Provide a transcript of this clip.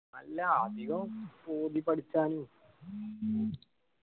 അല്ല അധികം ഓതി പഠിച്ചാലും